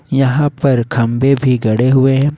यहां पर खंभे भी गड़े हुए है।